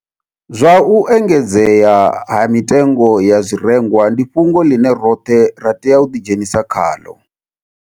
Zwa u engedzea ha mitengo ya zwirengwa ndi fhungo ḽine roṱhe ra tea u ḓidzhenisa khaḽo.